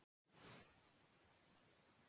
Það dimmir með hverju krunki